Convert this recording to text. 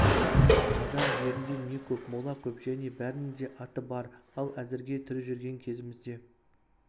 қазақ жерінде не көп мола көп және бәрінің де аты бар ал әзірге тірі жүрген кезімізде